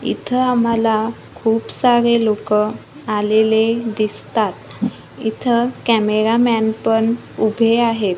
इथं आम्हाला खूप सारे लोकं आलेले दिसतात इथं कॅमेरा मॅन पण उभे आहेत.